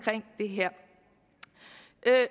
det her